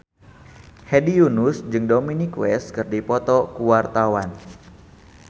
Hedi Yunus jeung Dominic West keur dipoto ku wartawan